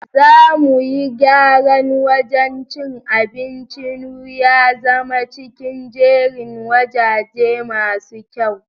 Za mu yi gyran wajan cin abincin nu ya zama cikin jerin wajaje masu kyau.